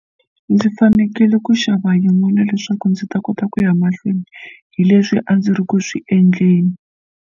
Ndzi fanekele ku xava yin'wana leswaku ndzi ta kota ku ya mahlweni hi leswi a ndzi ri ku swi endleni.